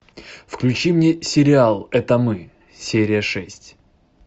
включи мне сериал это мы серия шесть